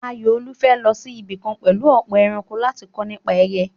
Ayọ̀olúwa fẹ́ lọ sí ibì kan pẹ̀lú ọ̀pọ̀ ẹranko láti kọ́ nípa ẹyẹ.